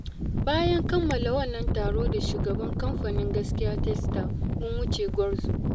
Bayan kammala wannan taro da Shugaban kamfanin Gaskiya Textile mun wuce Gwarzo